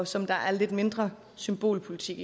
som der er lidt mindre symbolpolitik